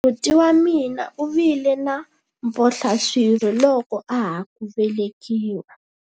buti wa mina u vile na mphohlaswirho loko a ha ku velekiwa